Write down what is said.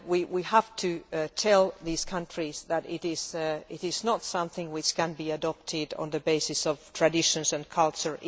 We have to tell these countries that it is not something that can be adopted on the basis of traditions and culture.